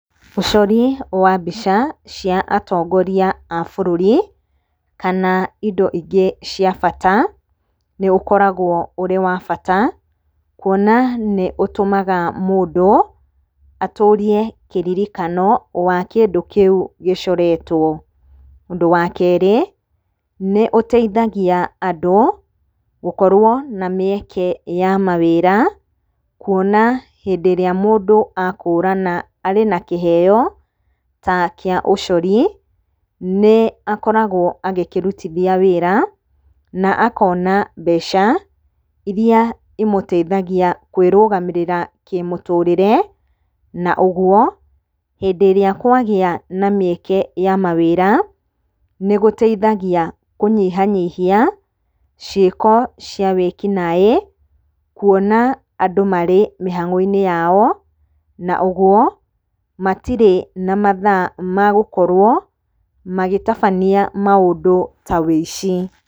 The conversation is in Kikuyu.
Ũcori wa mbica cia atongoria a bũrũri, kana indo ingĩ cia bata nĩũkoragwo ũrĩ wa bata. Kuona nĩũtũmaga mũndũ atũrie kĩrĩrikano wa kĩndũ kĩu gĩcoretwo. Ũndũ wa kerĩ, nĩũteithagia andũ gũkorwo na mĩeke ya mawĩra. Kuona hĩndĩ ĩrĩa mũndũ akũrana arĩ na kĩheo ta kĩa ũcori, nĩakoragwo agĩkĩrutithia wĩra, na akona mbeca iria imũteithagia kwĩrũgamĩrĩra kĩmũtũrĩre. Na ũguo, hĩndĩ ĩrĩa kwagĩa na mĩeke ya mawĩra, nĩgũteithagia kũnyihanyihia ciĩko cia wĩkinaĩ. Kuona andũ marĩ mĩhang'o-inĩ yao, na ũguo matirĩ na mathaa ma gũkorwo magĩtabania maũndũ ta ũici.